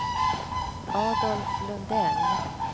Adolf Lundell